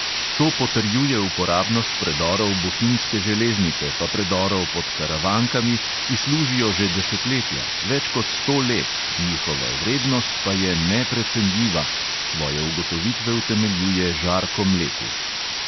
"To potrjuje uporabnost predorov bohinjske železnice, pa predorov pod karavankami, ki služijo že desetletja, več kot sto let, njihova vrednost pa je neprecenljiva," svoje ugotovitve utemeljuje žarko mlekuž.